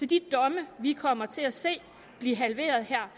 de domme vi kommer til at se blive halveret her